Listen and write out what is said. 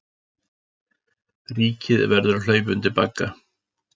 Ríkið verði að hlaupa undir bagga